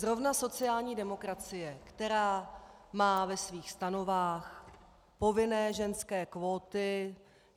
Zrovna sociální demokracie, která má ve svých stanovách povinné ženské kvóty.